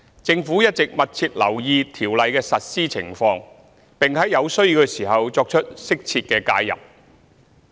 政府一直密切留意《條例》的實施情況，並在有需要時作出適切的介入。